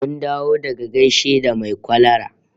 Mun dawo daga gaishe da mai kwalara